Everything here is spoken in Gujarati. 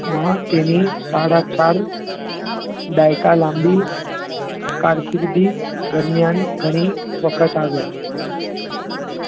માં તેની સાડા ચાર દાયકા લાંબી કારકિર્દી દરમિયાન ઘણી વખત આવ્યાં